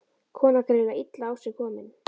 Konan greinilega illa á sig komin.